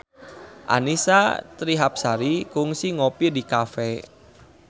Annisa Trihapsari kungsi ngopi di cafe